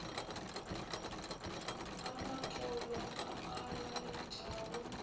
a matolo a a laetšago